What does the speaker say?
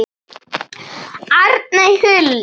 Arney Huld.